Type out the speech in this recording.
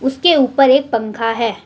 इसके ऊपर एक पंखा हैं।